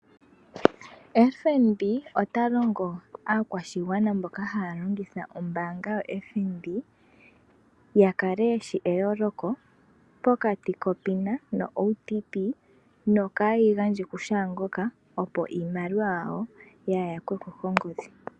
FNB ota longo aakwashigwana mboka haya longitha ombaanga yo FNB ya kale yeshi eyooloko pokati lo PINA no OTP yo kaayeyi gandje kushaangoka. Opo iimaliwa yawo ya yakweko kongodhi.